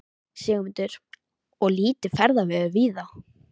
Sigmundur: Og lítið ferðaveður víða?